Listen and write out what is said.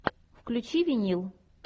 включи винил